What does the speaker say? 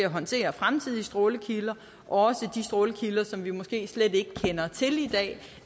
håndtere fremtidige strålekilder også de strålekilder som vi måske slet ikke kender til i dag